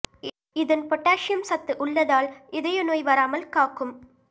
இதன் பொட்டாசியம் சத்து உள்ளதால் இதய நோய் வராமல் காக்கும்